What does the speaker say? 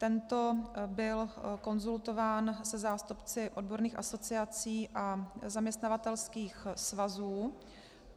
Tento byl konzultován se zástupci odborných asociací a zaměstnavatelských svazů.